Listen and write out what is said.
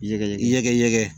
Ɲɛgɛn ɲɛgɛn ɲɛgɛn ɲɛgɛn